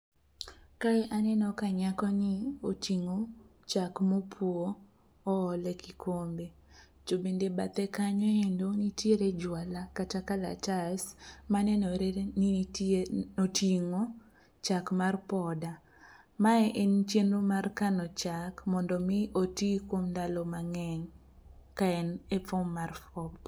Kae aneno ka nyakoni oting'o chak mopwo oole kikombe to bende bathe kanyo endo nitiere jwala kata kalatas manenore ni oting'o chak mar poda. Mae en chenro mar kano chak mondo omi oti kuom ndalo mang'eny ka en e fom mar fom.